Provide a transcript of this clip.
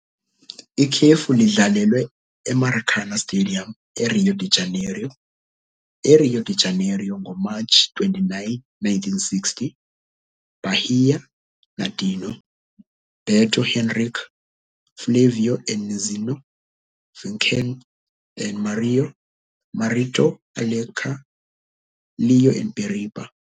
Ikhefu lidlalelwe eMaracanã Stadium, eRio de Janeiro, eRio de Janeiro, ngoMatshi 29, 1960. Bahia- Nadinho, Beto, Henrique, Flávio and Neizinho, Vicente and Mário, Marito, Alencar, Léo and Biriba.